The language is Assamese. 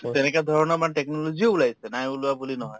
তেনেকা ধৰণৰ মানে technology ও ওলাইছে নাই ওলোৱা বুলি নহয়